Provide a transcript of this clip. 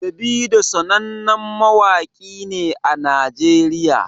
Davido sanannen mawaƙi ne a najeriya